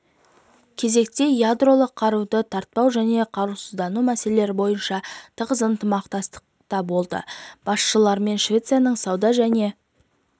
кезекте ядролық қаруды таратпау және қарусыздану мәселелері бойынша тығыз ынтымақтастықта болды басшылығымен швецияның сауда және